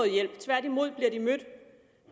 hjælp tværtimod bliver de mødt